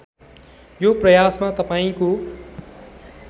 यो प्रयासमा तपाईँको